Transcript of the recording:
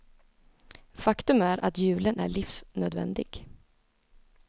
Faktum är att julen är livsnödvändig.